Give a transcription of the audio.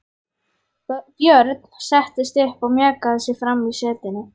Björn settist upp og mjakaði sér fram í setinu.